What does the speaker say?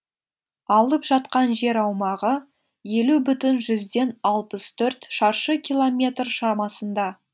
алып жатқан жер аумағы елу бүтін жүзден алпыс төрт шаршы километр шамасында